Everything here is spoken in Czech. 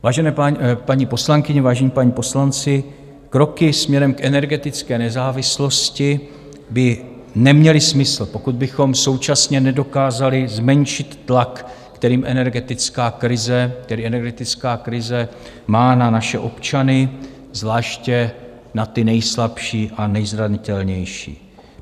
Vážené paní poslankyně, vážení páni poslanci, kroky směrem k energetické nezávislosti by neměly smysl, pokud bychom současně nedokázali zmenšit tlak, který energetická krize má na naše občany, zvláště na ty nejslabší a nejzranitelnější.